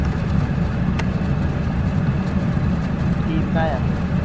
ਕੀ ਬਣਾਇਆ ਤੁਹੀਂ